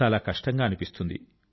చాలా కష్టం గా అనిపిస్తుంది